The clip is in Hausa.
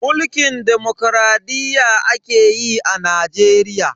Mulkin demokradiyya ake yi a Najeriya.